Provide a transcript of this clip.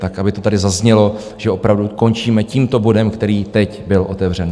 Tak aby to tady zaznělo, že opravdu končíme tímto bodem, který teď byl otevřen.